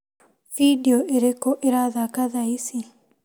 Bindiũ irĩkũ irathaka thaa ici ?